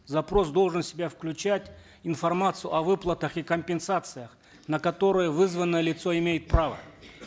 запрос должен в себя включать информацию о выплатах и компенсациях на которые вызванное лицо имеет право